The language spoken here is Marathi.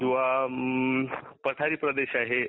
किंवा पठारी प्रदेश आहे.